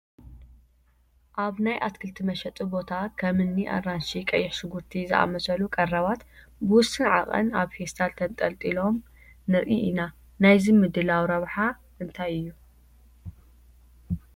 ኣብ ናይ ኣትክልቲ መሸጢ ቦታ ከም እኒ ኣራንሺ፣ ቀይሕ ሽጉርቲ ዝኣምሰሉ ቀረባት ብውሱን ዓቐን ኣብ ፌስታል ተንጠልጢሎም ንርኢ ኢና፡፡ ናይዚ ምድላው ረብሓ እንታይ እዩ?